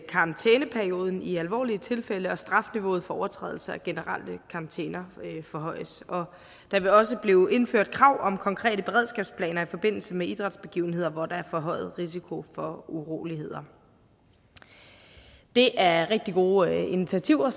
karantæneperioden i alvorlige tilfælde og strafniveauet for overtrædelse af generelle karantæner forhøjes og der vil også blive indført krav om konkrete beredskabsplaner i forbindelse med idrætsbegivenheder hvor der er forhøjet risiko for uroligheder det er rigtig gode initiativer